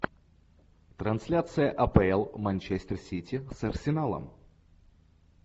трансляция апл манчестер сити с арсеналом